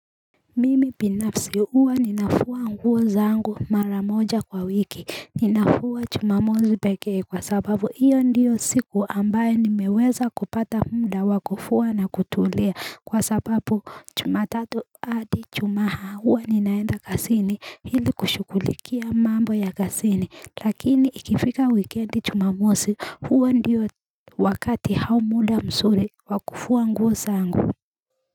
Mimi pinafsi uwa ninafua nguo zangu mara moja kwa wiki ninafua chumamozi pekei kwa sababu iyo ndio siku ambayo nimeweza kupata muda wakufua na kutulia kwa sababu chumatatu adi ichumaha huwa ninaenda kasini hili kushukulikia mambo ya kasini lakini ikifika wikendi chumamozi uwa ndio wakati hau muda msuri wa kufua nguo zangu.